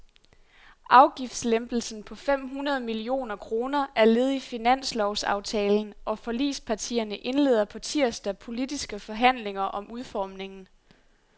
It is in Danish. Afgiftslempelsen på fem hundrede millioner kroner er led i finanslovsaftalen, og forligspartierne indleder på tirsdag politiske forhandlinger om udformningen.